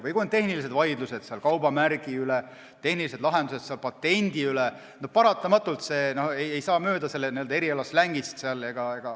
Või kui on tehnilised vaidlused kaubamärgi üle, patendi üle – paratamatult ei saa slängist mööda.